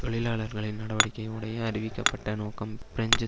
தொழிலாளர்களின் நடவடிக்கை உடைய அறிவிக்கப்பட்ட நோக்கம் பிரெஞ்சு